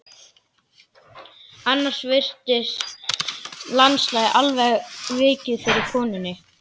Annars virtist landslagið alveg hafa vikið fyrir konunni.